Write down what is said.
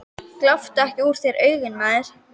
Gláptu ekki úr þér augun, maður.